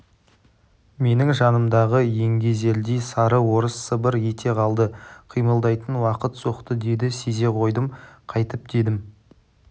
менің жанымдағы еңгезердей сары орыс сыбыр ете қалды қимылдайтын уақыт соқты деді сезе қойдым қайтіп дедім